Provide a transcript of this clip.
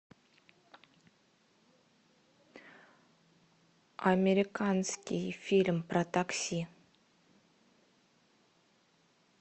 американский фильм про такси